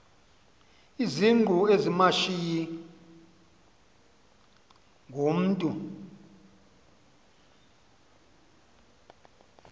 izingqu ezimashiyi ngumntu